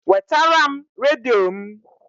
Wetara m redio m!